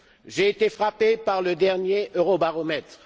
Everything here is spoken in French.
J'ai été frappé par le dernier Eurobaromètre.